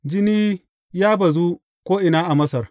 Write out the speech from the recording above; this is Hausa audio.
Jini ya bazu ko’ina a Masar.